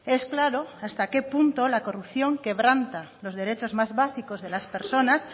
es claro hasta qué punto la corrupción quebranta los derechos más básicos de las personas